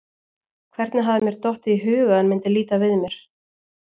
Hvernig hafði mér dottið í hug að hann myndi líta við mér?